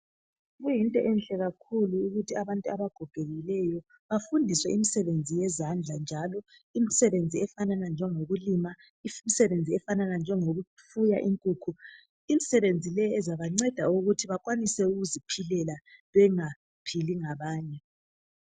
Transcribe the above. Kuyinto enhle kakhulu ukuthi abantu abagogekileyo bafundiswe imisebenzi yezandla efana lokulima lokufuya inkukhu. Imisebenzi le izabanceda ukuthi bakwanise ukuziphilela bengaphili ngabanye.